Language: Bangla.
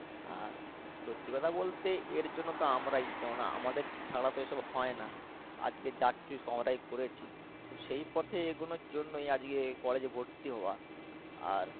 আর সত্যিকথা বলতে এর জন্য তো আমরাই কেননা আমাদের ছাড়া তো এসব হয়না, আজকে করেছি তো সেই পথেই এগোনোর জন্যই আজকে college এ ভর্তি হওয়া আর